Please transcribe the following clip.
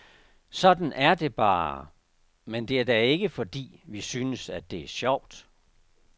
Sådan er det bare, men det er da ikke fordi, vi synes, at det er sjovt.